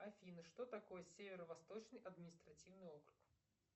афина что такое северо восточный административный округ